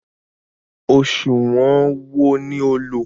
Ọ̀sùwọ̀n wo ní o lò?